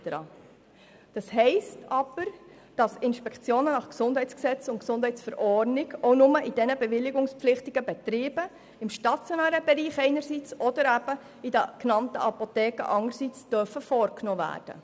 Inspektionen nach Gesundheitsgesetz (GesG) und Verordnung über die beruflichen Tätigkeiten im Gesundheitswesen (Gesundheitsverordnung, GesV) dürfen also nur in diesen bewilligungspflichtigen Betrieben im stationären Bereich oder eben in den genannten Apotheken vorgenommen werden.